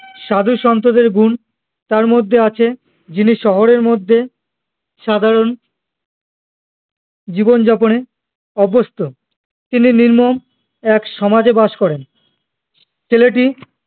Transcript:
সাধু সন্তদের গুন্ তার মধ্যে আছে যিনি শহরের মধ্যে সাধারণ জীবন যাপনে অভ্যস্ত তিনি নির্মম এক সমাজে বাস করেন ছেলেটি